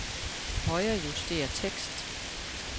Højrejuster tekst.